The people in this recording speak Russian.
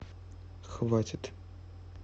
хватит